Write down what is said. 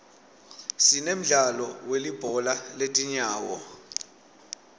sinemdlalo welibhola letinyawo